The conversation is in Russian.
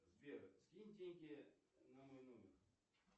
сбер скинь деньги на мой номер